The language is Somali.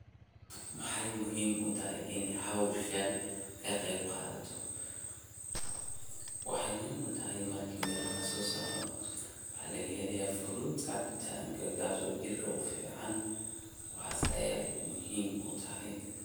Maxay muhim utahy ini howshan kaqeb qadhato, waxay muhim utahay mirki miraha lasosaro, waxa laga helaya fruits cabitanka kaso jirka ufican waxas ayay muhim utahay.